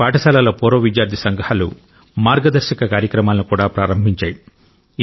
కొన్ని పాఠశాలల పూర్వ విద్యార్థి సంఘాలు మార్గదర్శక కార్యక్రమాలను కూడా ప్రారంభించాయి